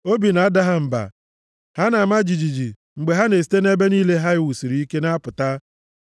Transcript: Obi na-ada ha mba; ha na-ama jijiji mgbe ha na-esite nʼebe niile ha e wusiri ike na-apụta.